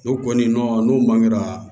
N'u kɔni n'u man kɛra